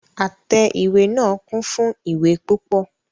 Àtẹ ìwé náà kún fún ìwé púpọ.